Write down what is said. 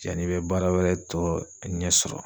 Yani i be baara wɛrɛ tɔ ɲɛ sɔrɔ.